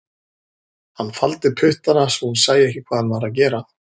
Hann faldi puttana svo hún sæi ekki hvað hann var að gera